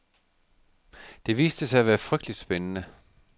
Det viste sig at være frygteligt spændende.